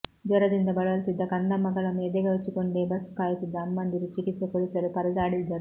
ಜ್ವರದಿಂದ ಬಳಲುತ್ತಿದ್ದ ಕಂದಮ್ಮಗಳನ್ನು ಎದೆಗವಚಿಕೊಂಡೇ ಬಸ್ ಕಾಯುತ್ತಿದ್ದ ಅಮ್ಮಂದಿರು ಚಿಕಿತ್ಸೆ ಕೊಡಿಸಲು ಪರದಾಡಿದರು